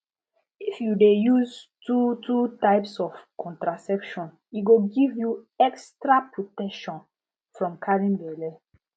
if you de use two two types of contraception e go give you extra protection from carrying belle